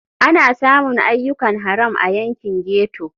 Ana samun ayyukan haram a yankin ghetto.